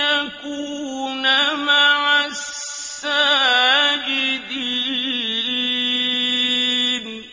يَكُونَ مَعَ السَّاجِدِينَ